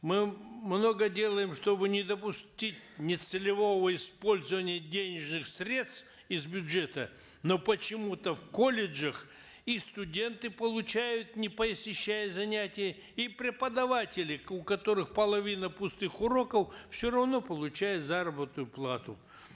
мы много делаем чтобы не допустить нецелевого использования денежных средств из бюджета но почему то в колледжах и студенты получают не посещая занятия и преподаватели у которых половина пустых уроков все равно получают заработную плату